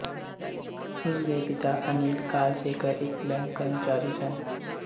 ਉਸ ਦੇ ਪਿਤਾ ਅਨਿਲ ਕਾਲਸੇਕਰ ਇੱਕ ਬੈਂਕ ਕਰਮਚਾਰੀ ਸਨ